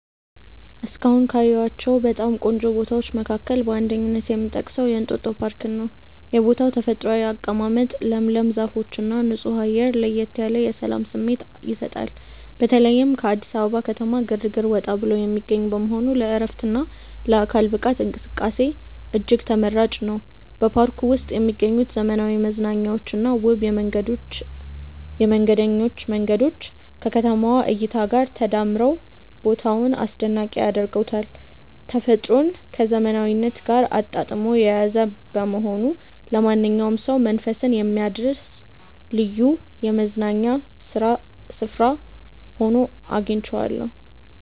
እስካሁን ካየኋቸው በጣም ቆንጆ ቦታዎች መካከል በአንደኝነት የምጠቀሰው የእንጦጦ ፓርክን ነው። የቦታው ተፈጥሯዊ አቀማመጥ፣ ለምለም ዛፎችና ንጹህ አየር ለየት ያለ የሰላም ስሜት ይሰጣል። በተለይም ከአዲስ አበባ ከተማ ግርግር ወጣ ብሎ የሚገኝ በመሆኑ ለዕረፍትና ለአካል ብቃት እንቅስቃሴ እጅግ ተመራጭ ነው። በፓርኩ ውስጥ የሚገኙት ዘመናዊ መዝናኛዎችና ውብ የመንገደኞች መንገዶች ከከተማዋ እይታ ጋር ተዳምረው ቦታውን አስደናቂ ያደርጉታል። ተፈጥሮን ከዘመናዊነት ጋር አጣጥሞ የያዘ በመሆኑ ለማንኛውም ሰው መንፈስን የሚያድስ ልዩ የመዝናኛ ስፍራ ሆኖ አግኝቼዋለሁ።